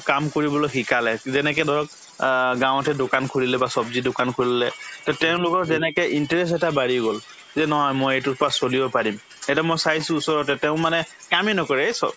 কাম কৰিবলৈ শিকালে যেনেকে ধৰক অ গাঁৱতে দোকান খুলিলে বা ছব্জিৰ দোকান খুলিলে তে তেওঁলোকৰ যেনেকে interest এটা বাঢ়ি গল যে নহয় মই এইটোৰ পাই চলিব পাৰিম এতিয়া মই চাইছো ওচৰতে তেওঁ মানে কামে নকৰে এই